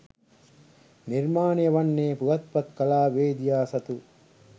නිර්මාණය වන්නේ පුවත්පත් කලාවේදියා සතු